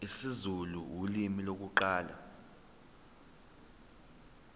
isizulu ulimi lokuqala